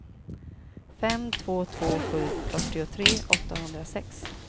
fem två två sju fyrtiotre åttahundrasex